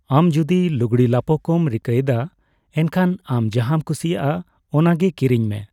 ᱟᱢ ᱡᱩᱫᱤ ᱞᱩᱜᱽᱲᱤᱼᱞᱟᱯᱳ ᱠᱚᱢ ᱨᱤᱠᱟᱹᱭᱮᱫᱟ, ᱮᱱᱠᱷᱟᱱ ᱟᱢ ᱡᱟᱦᱟᱸᱢ ᱠᱩᱥᱤᱭᱟᱜᱼᱟ ᱚᱱᱟᱜᱮ ᱠᱤᱨᱤᱧ ᱢᱮ ᱾